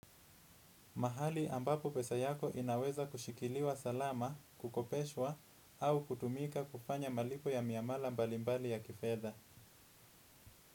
Mahali ambapo pesa yako inaweza kushikiliwa salama, kukopeswa au kutumika kufanya maliko ya miamala mbalimbali ya kifeda.